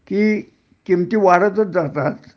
कि किमती वाढतच जातात